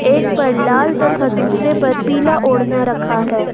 एक पर लाल तथा दूसरे पर पिला ओढ़ना रखा है।